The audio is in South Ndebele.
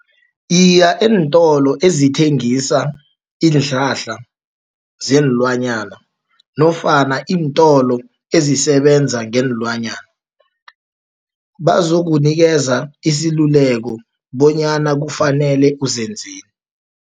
Iya eentolo ezithengisa iinhlahla zeenlwanyana, nofana iintolo ezisebenza ngeenlwanyana, bazokunikeza isiluleko bonyana kufanele uzenzeni.